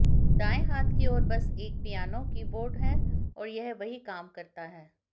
दाएं हाथ की ओर बस एक पियानो कीबोर्ड है और यह वही काम करता है